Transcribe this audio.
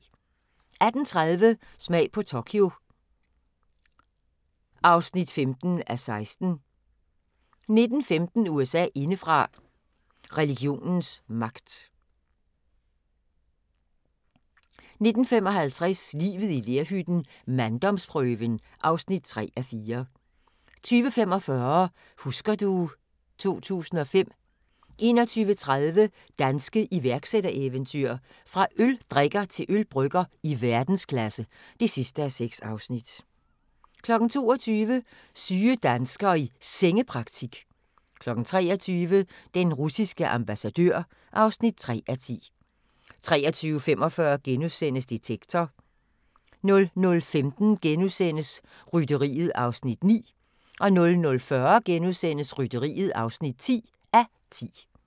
18:30: Smag på Tokyo (15:16) 19:15: USA indefra: Religionens magt 19:55: Livet i lerhytten - manddomsprøven (3:4) 20:45: Husker du ... 2005 21:30: Danske iværksættereventyr – fra øldrikker til ølbrygger i verdensklasse (6:6) 22:00: Syge danskere i Sengepraktik 23:00: Den russiske ambassadør (3:10) 23:45: Detektor * 00:15: Rytteriet (9:10)* 00:40: Rytteriet (10:10)*